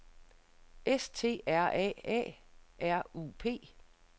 S T R A A R U P